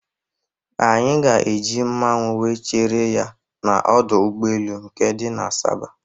A ga-eji mmanwu were chere ya n'ọdọ ụgbọelu nke dị na Asaba